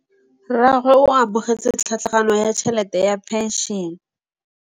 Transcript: Rragwe o amogetse tlhatlhaganyô ya tšhelête ya phenšene.